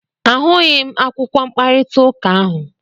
A hụghị m akwụkwọ mkparịta ụka ahụ.